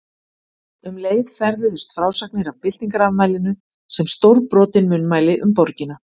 Um leið ferðuðust frásagnir af byltingarafmælinu sem stórbrotin munnmæli um borgina.